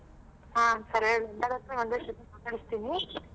ಹಾ ಸರಿ ಎಲ್ಲಾರತ್ರ ಒಂದೇ ಸತಿ ಮಾತಾಡಿಸ್ತೀನಿ.